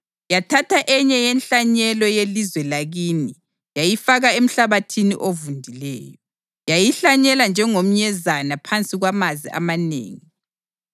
Yathatha enye yenhlanyelo yelizwe lakini yayifaka emhlabathini ovundileyo: Yayihlanyela njengomnyezane phansi kwamanzi amanengi,